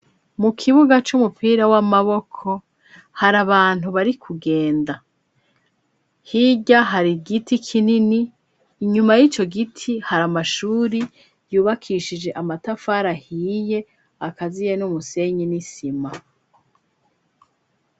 Mu kibuga c'umupira w'amaboko, hari abantu bari kugenda. hirya hari igiti kinini inyuma y'ico giti hari amashuri yubakishije amatafari ahiye akaziye n'umusenyi n'isima.